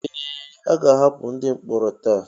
Ee! A ga-ahapụ ndị mkpọrọ taa.